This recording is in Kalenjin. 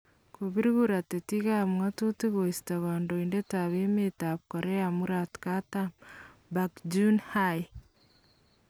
Kopir kura tetikap ng'atutik koista kandoindetap emetap Korea murat Katam ParkGeun-Hye